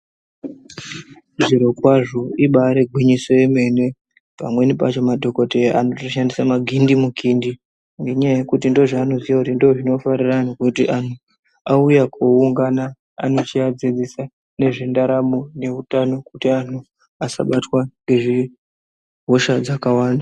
Zvirokwazvo ibaari gwinyiso yemene, pamwenipacho madhokodheya anoto shandisa magindimukindi. Ngenyaya yekuti ndozveanoziya kuti ndizvo zvinofarira antu, kuti antu auya kooungana anochiadzidzisa ngezvendaramo nehutano kuti antu asabatwa ngehosha dzakawanda.